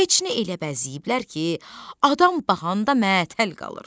Keçini elə bəzəyiblər ki, adam baxanda məəttəl qalır.